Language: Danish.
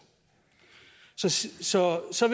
så så